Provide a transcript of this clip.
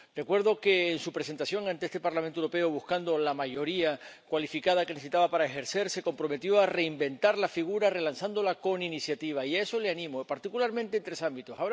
Recuerdo que, en su presentación ante este Parlamento Europeo buscando la mayoría cualificada que necesitaba para ejercer, se comprometió a reinventar la figura relanzándola con iniciativa, y a eso la animo, particularmente en tres ámbitos.